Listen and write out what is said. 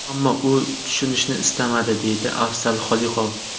Ammo u tushunishni istamadi”, deydi Afzal Xoliqov.